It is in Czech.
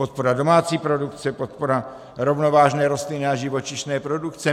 Podpora domácí produkce, podpora rovnovážné rostlinné a živočišné produkce.